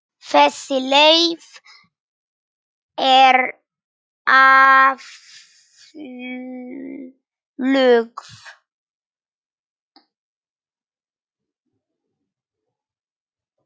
Þessi leið er aflögð.